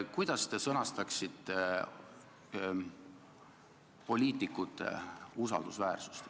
Kuidas te sõnastaksite, mis on poliitiku usaldusväärsus?